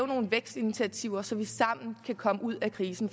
nogle vækstinitiativer så vi sammen kan komme ud af krisen